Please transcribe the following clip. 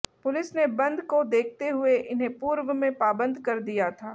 police ने बंद को देखते हुए इन्हें पूर्व में पाबंद कर दिया था